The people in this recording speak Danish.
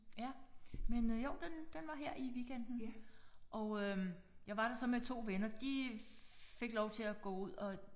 Ja men jo den den var her i weekenden. Og øh jeg var der så med 2 venner de fik lov til at gå ud og